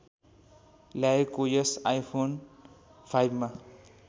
ल्याएको यस आइफोन फाइभमा